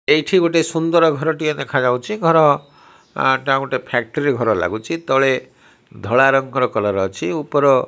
ଏଇଠି ଗୋଟେ ସୁନ୍ଦର ଘର ଟିଏ ଦେଖା ଯାଉଛି ଘର ଟା ଗୋଟେ ଫ୍ୟାକ୍ଟ୍ରି ଘର ଲାଗୁଛି ତଳେ ଧଳା ରଙ୍ଗର କଲର ଅଛି ଉପର --